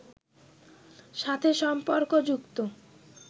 সাথে সম্পর্ক যুক্ত